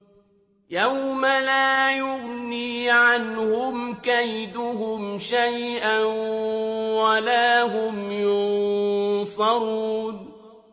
يَوْمَ لَا يُغْنِي عَنْهُمْ كَيْدُهُمْ شَيْئًا وَلَا هُمْ يُنصَرُونَ